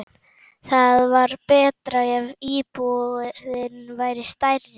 Það væri betra ef íbúðin væri stærri.